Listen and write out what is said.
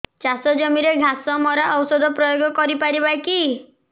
ଚାଷ ଜମିରେ ଘାସ ମରା ଔଷଧ ପ୍ରୟୋଗ କରି ପାରିବା କି